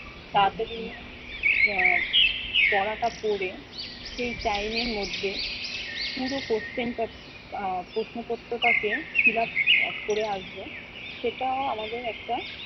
তাড়াতাড়ি আহ পড়াটা পড়ে সেই time এর মধ্যে পুরো question টা আহ প্রশ্নপত্রটাকে fillup করে আসবো, সেটাও আমাদের একটা